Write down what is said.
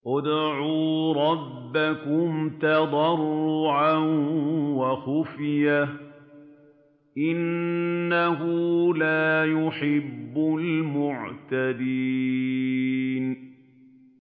ادْعُوا رَبَّكُمْ تَضَرُّعًا وَخُفْيَةً ۚ إِنَّهُ لَا يُحِبُّ الْمُعْتَدِينَ